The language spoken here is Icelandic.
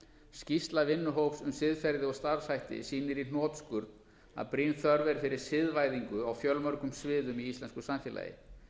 skýrsla vinnuhópsins um siðferði og starfshætti sýnir í hnotskurn að brýn þörf er fyrir siðvæðingu á fjölmörgum sviðum í íslensku samfélagi